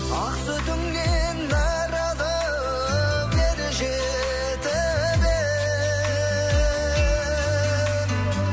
ақ сүтіңнен нәр алып ер жетіп ем